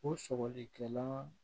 O sɔgɔlikɛla